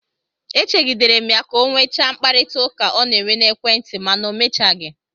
E chegidere m ya ka ọ nwechaa mkparịtaụka ọ na-enwe n'ekwentị, mana o mechaghị.